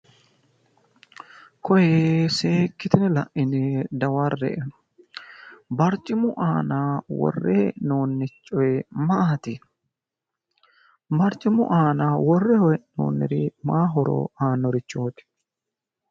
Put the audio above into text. Koye seekkitine la'ine dawarre"e. Barcimu aana worre hee'noonni coyi maati? Barcimu aana worre hee'noonniri mayi horo aannorichooti?